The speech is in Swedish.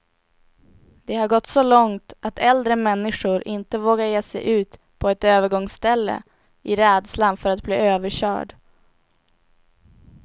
Det har gått så långt att äldre människor inte vågar ge sig ut på ett övergångsställe, i rädslan för att bli överkörd.